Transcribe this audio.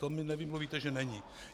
To mi nevymluvíte, že není!